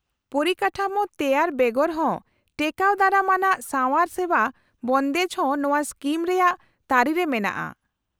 -ᱯᱚᱨᱤᱠᱟᱴᱷᱟᱢᱳ ᱛᱮᱣᱟᱨ ᱵᱮᱜᱚᱨᱦᱚᱸ ᱴᱮᱠᱟᱣ ᱫᱟᱨᱟᱢ ᱟᱱᱟᱜ ᱥᱟᱣᱟᱨ ᱥᱮᱵᱟ ᱵᱚᱱᱫᱮᱡ ᱦᱚᱸ ᱱᱚᱶᱟ ᱥᱠᱤᱢ ᱨᱮᱭᱟᱜ ᱛᱟᱹᱨᱤᱨᱮ ᱢᱮᱱᱟᱜᱼᱟ ᱾